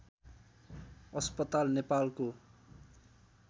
अस्पताल नेपालको